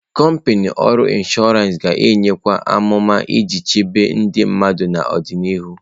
Kọmpanị ọrụ inshọransị ga-enyekwu amụma iji chebe ndị mmadụ n'ọdịnihu.